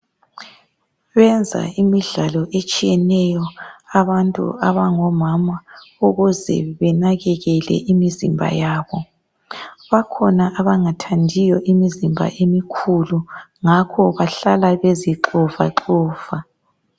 Benza imidlalo etshiyeneyo abantu abangomama ukuze benakekele imizimba yabo. Bakhona abangathandiyo imizimba emikhulu ngakho bahlala bezixovaxova.